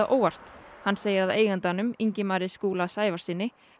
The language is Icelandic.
óvart hann segir að eigandanum Ingimari Skúla Sævarssyni